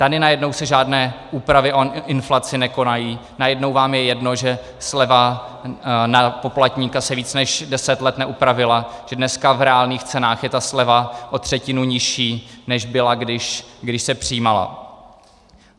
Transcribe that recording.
Tady najednou se žádné úpravy o inflaci nekonají, najednou vám je jedno, že sleva na poplatníka se víc než 10 let neupravila, že dneska v reálných cenách je ta sleva o třetinu nižší, než byla když, se přijímala.